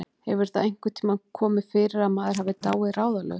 Hefur það einhvern tíma komið fyrir að maður hafi dáið ráðalaus?